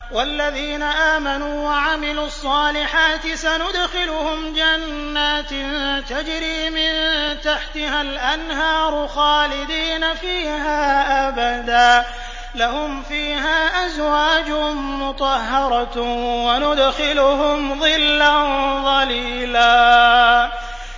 وَالَّذِينَ آمَنُوا وَعَمِلُوا الصَّالِحَاتِ سَنُدْخِلُهُمْ جَنَّاتٍ تَجْرِي مِن تَحْتِهَا الْأَنْهَارُ خَالِدِينَ فِيهَا أَبَدًا ۖ لَّهُمْ فِيهَا أَزْوَاجٌ مُّطَهَّرَةٌ ۖ وَنُدْخِلُهُمْ ظِلًّا ظَلِيلًا